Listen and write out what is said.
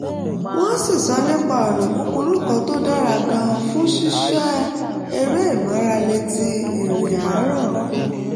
wọ́n sì sọ nípa ọ̀nà kúkúrú kan tó dára gan-an fún ṣíṣe eré ìmáralé ti ìrìn àárọ̀